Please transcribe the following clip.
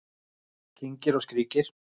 Kyngir og skríkir